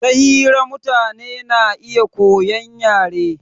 Ta hira mutane na iya koyan yare